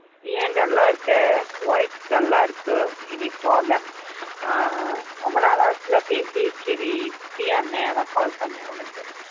ஏன் dull ஆ இருக்க voice dull ஆ இருக்கு any problem? ஆஹ் ரொம்ப நாள் ஆச்சு இல்ல பேசி சரி free யா இருந்தேன் அதான் call பண்ணேன் உனக்கு.